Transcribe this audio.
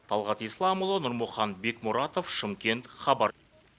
талғат исламұлы нұрмұхан бекмұратов шымкент хабар